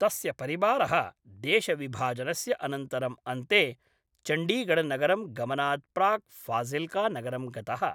तस्य परिवारः देशविभाजनस्य अनन्तरं अन्ते चण्डीगढ नगरं गमनात् प्राक् फाजिल्का नगरं गतः।